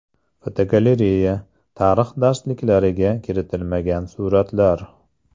Fotogalereya: Tarix darsliklariga kiritilmagan suratlar.